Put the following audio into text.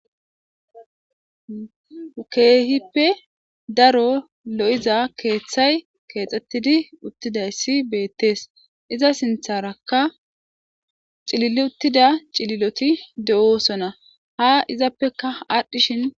keehippe daro lo7iza keeththay keexxettidi uttidayssi beettees iza sintharakka cilil uttida cililoti de7oosona ha izappeka aadhdhishin